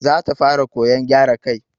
Za ta fara koyan gyara kai.